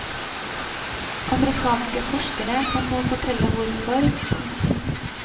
Amerikanske forskere kan nå fortelle hvorfor. punktum